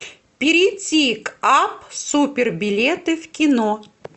перейти к апп супер билеты в кино